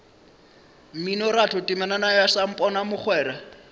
mminoratho temana ya samponana mogwera